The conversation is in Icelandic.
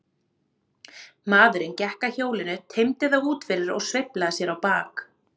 Maðurinn gekk að hjólinu, teymdi það út fyrir og sveiflaði sér á bak.